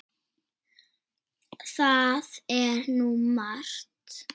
Það er nú margt.